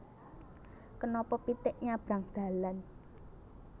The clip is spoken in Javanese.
Kenapa pitik nyabrang dalan